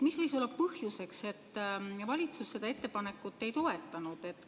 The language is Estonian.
Mis võis olla põhjuseks, et valitsus seda ettepanekut ei toetanud?